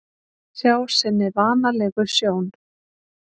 Sjá sinni vanalegu sjón.